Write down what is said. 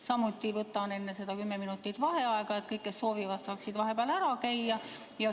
Samuti võtan enne seda kümme minutit vaheaega, et kõik, kes soovivad, saaksid vahepeal ära käia.